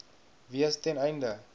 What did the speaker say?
wees ten einde